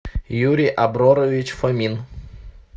юрий аброрович фомин